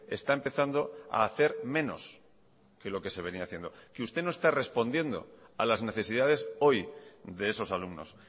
está empezando a hacer menos que lo que se venía haciendo que usted no esta respondiendo a las necesidades hoy de esos alumnos